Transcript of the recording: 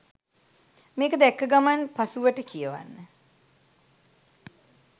මේක දැක්ක ගමන් පසුවට කියවන්න